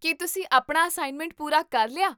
ਕੀ ਤੁਸੀਂ ਆਪਣਾ ਅਸਾਇਨਮੈਂਟ ਪੂਰਾ ਕਰ ਲਿਆ?